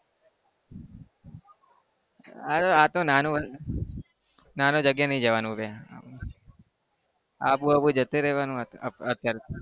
અરે આતો નાનું નાનું જગ્યાએ નહી જવાનું આબુ-બાબુ જતું રહેવાનું અત્યારે તો.